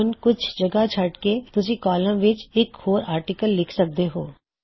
ਹੁਣ ਕੁਛ ਜਗ੍ਹਾ ਛੱਡ ਕੇ ਤੁਸੀਂ ਕੌਲਮ ਵਿੱਚ ਇਕ ਹੋਰ ਆਰਟਿਕਲ ਲਿਖ ਸਕਦੇ ਹੋਂ